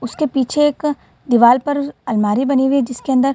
उसके पीछे एक दीवाल पर अलमारी बनी हुई है जिसके अंदर --